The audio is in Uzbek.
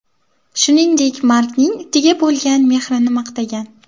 Shuningdek Markning itiga bo‘lgan mehrini maqtagan.